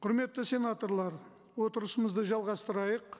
құрметті сенаторлар отырысымызды жалғастырайық